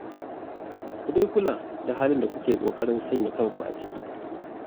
Ku dai kula da halin da kuke ƙoƙarin sanya kanku a ciki